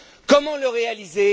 Comment le réaliser?